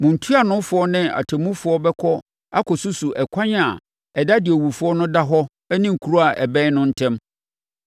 mo ntuanofoɔ ne atemmufoɔ bɛkɔ akɔsusu ɛkwan a ɛda deɛ owufoɔ no da hɔ ne kuro a ɛbɛn no ntam.